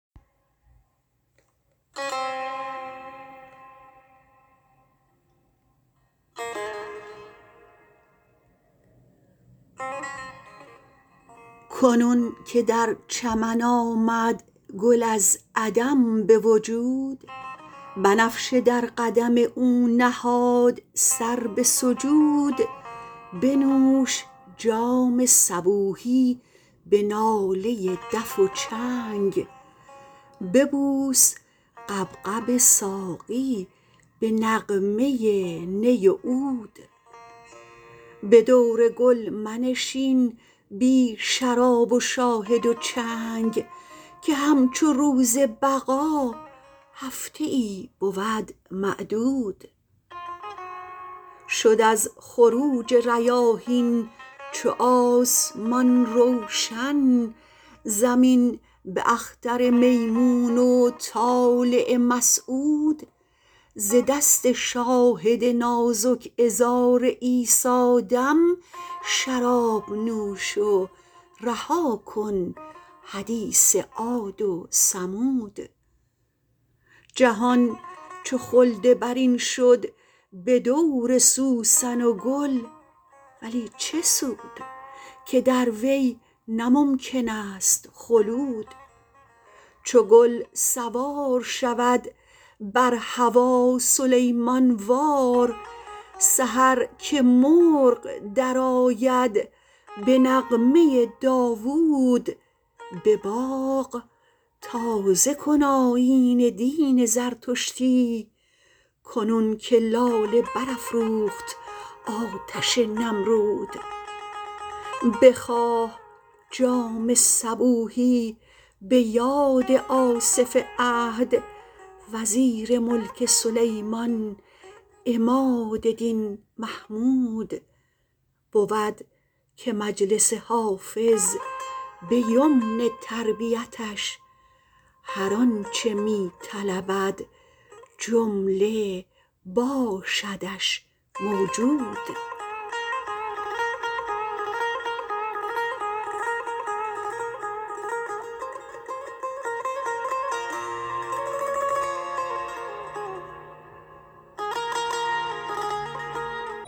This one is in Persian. کنون که در چمن آمد گل از عدم به وجود بنفشه در قدم او نهاد سر به سجود بنوش جام صبوحی به ناله دف و چنگ ببوس غبغب ساقی به نغمه نی و عود به دور گل منشین بی شراب و شاهد و چنگ که همچو روز بقا هفته ای بود معدود شد از خروج ریاحین چو آسمان روشن زمین به اختر میمون و طالع مسعود ز دست شاهد نازک عذار عیسی دم شراب نوش و رها کن حدیث عاد و ثمود جهان چو خلد برین شد به دور سوسن و گل ولی چه سود که در وی نه ممکن است خلود چو گل سوار شود بر هوا سلیمان وار سحر که مرغ درآید به نغمه داوود به باغ تازه کن آیین دین زردشتی کنون که لاله برافروخت آتش نمرود بخواه جام صبوحی به یاد آصف عهد وزیر ملک سلیمان عماد دین محمود بود که مجلس حافظ به یمن تربیتش هر آن چه می طلبد جمله باشدش موجود